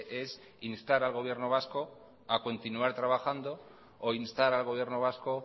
es instar al gobierno vasco a continuar trabajando o instar al gobierno vasco